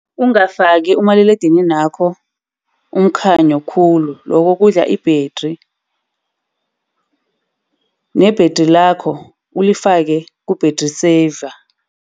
Ungakafaki umaliledininakho umkhanyo khulu lokho kudla i-battery. Nebhethri lakho ulifake ku-battery saver.